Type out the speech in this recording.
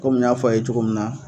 Kɔmi n y'a fɔ a ye cogo min na.